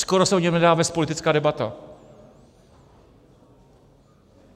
Skoro se o něm nedá vést politická debata.